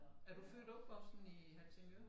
Er du født og opvokset i Helsingør?